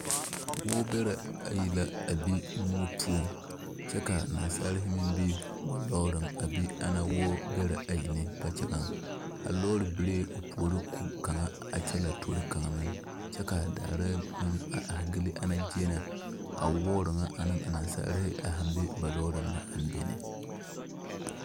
Wɔɔbɛrɛ ayi la be moɔ poɔŋ kyɛ ka nasaali meŋ be ba lɔɔre poɔ ana wɔɔbɛrɛ na kpakyagaŋ a lɔɔre beree opuori ko kaŋa kyɛ la tori kaŋa meŋ kyɛ ka daare a gyili a zie na a wɔɔre nyɛ ane a nasaali naŋ be na.